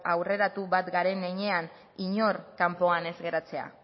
aurreratu bat garen heinean inor kanpoan ez geratzea